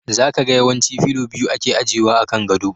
Za ka ga yawanci fillo biyu ake ajewa a kan gado.